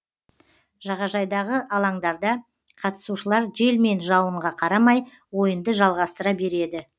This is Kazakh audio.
жағажайдағы алаңдарда қатысушылар жел мен жауынға қарамай ойынды жалғастыра береді